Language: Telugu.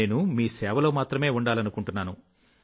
నేను సేవలో మాత్రమే ఉండాలనుకుంటున్నాను